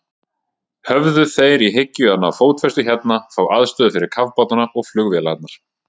Höfðu þeir í hyggju að ná fótfestu hérna, fá aðstöðu fyrir kafbátana og flugvélarnar?